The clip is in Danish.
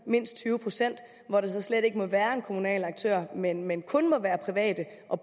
mindst tyve procent kommunerne hvor der så slet ikke måtte være en kommunal aktør men men kun private og